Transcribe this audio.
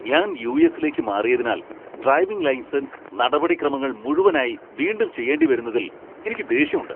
ഞാൻ യു.എസ്സിലേക്ക് മാറിയതിനാൽ ഡ്രൈവിംഗ് ലൈസൻസ് നടപടിക്രമങ്ങൾ മുഴുവനായി വീണ്ടും ചെയ്യേണ്ടിവരുന്നതിൽ എനിക്ക് ദേഷ്യമുണ്ട്.